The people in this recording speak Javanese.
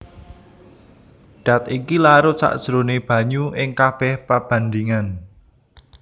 Dat iki larut sajroné banyu ing kabèh pabandhingan